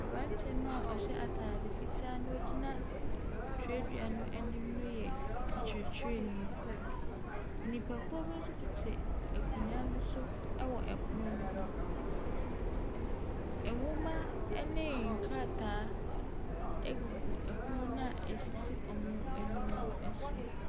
Aberanteɛ no a wɔhyɛ atadeɛ fitaa na ɔgyina twerɛdua no anim no yɛ ɔkyerɛkyerɛni. Nipakuo bi nso tete akonnwa no so wɔ pono no ho. Ɛ Nwoma ne nkrataa gugu pono no a ɛsisi wɔn anim no so.